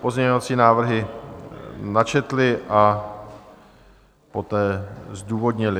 pozměňovací návrhy načetly a poté zdůvodnily.